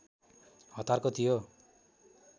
हतारको थियो